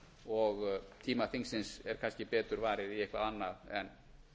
og tíma þingsins er kannski betur varið í eitthvað annað en